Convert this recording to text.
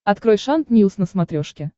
открой шант ньюс на смотрешке